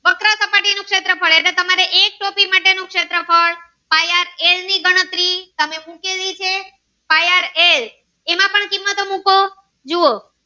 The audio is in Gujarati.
ની શેત્રફ્ળ pai aar ael ની ગણતરી મુકેલી છે pai aar ael એમાં પણ કિંમતો મુકો